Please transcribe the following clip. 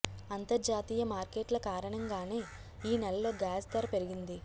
అంతర్జాతీయ మార్కెట్ల కారణంగానే ఈ నెలలో గ్యాస్ ధర పెరిగింది